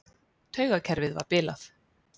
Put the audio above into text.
Taugakerfið var bilað.